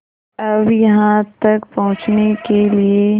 अब यहाँ तक पहुँचने के लिए